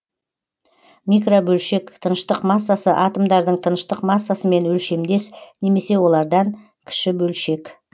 микробөлшек тыныштық массасы атомдардың тыныштық массасымен өлшемдес немесе олардан кіші бөлшек